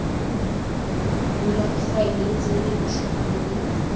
bulwa difaele tse dintšhwa mme